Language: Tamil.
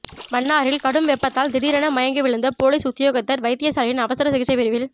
மன்னாரில் கடும் வெப்பத்தால் திடீரென மயங்கி விழுந்த பொலிஸ் உத்தியோகத்தர் வைத்தியசாலையின் அவசர சிகிச்சை பிரிவில்